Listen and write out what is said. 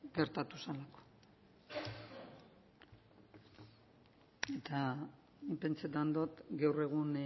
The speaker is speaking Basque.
gertatu zelako eta nik pentsetan dot gaur egun